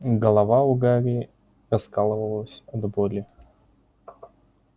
голова у гарри раскалывалась от боли